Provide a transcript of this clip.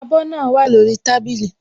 Abọ́ náà wà lórí tábìlì